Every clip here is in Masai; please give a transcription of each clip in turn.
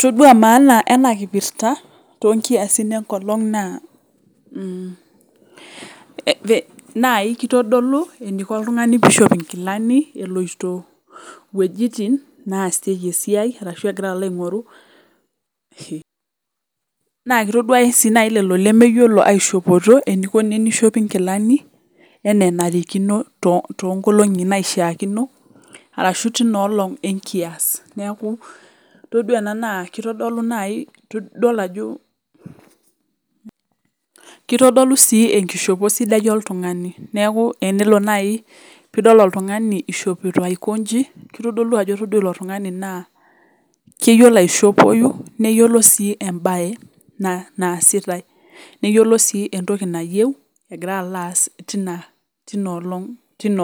Todua maana enakipirta tonkiasin enkolong naa kitodolu eniko oltungani peishop nkilani eloito wuejitin naasieki esiai arashu egira alo aingoru na kitaduaya lolo lemeyiolo aishopoto eniko tenishop inkilani ana enenarikino tonkolongi naishaakino arashu tinaolong enkias tadua ena na kitodolu nai ajo kitodolu si enkishopo sidai oltungani neaku enelo nai pidol oltungani ishopito aiko nji kitodolu ajo itodua ilotungani na keyiolo aishopoi na neyiolo si embae naasitae neyiolobsi entoki nayieu egira alo aas tinoolong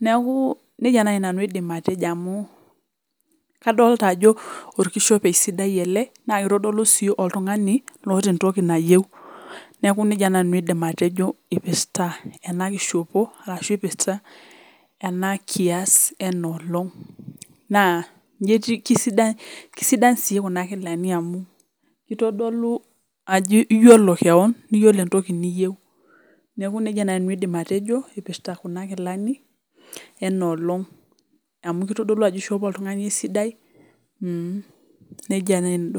neaku nejia nai nanu aidim atejo amu kadolita ajo orkishopo sidai ele na kitadolu si oltungani oata entoki nayieu neaku ina nai aidim atejo ipirta enakishopo ashu ipirta enakias enoolong na inji etiu kisidan si kuna kilani amu litodolu ajo iyolo keon iyolo entoki niyeu neaku ina nanu aidim atejo ipirta kuna kilani enaalong amu kitadolu ajo kishopo oltungani esida, mmh nejia etiu.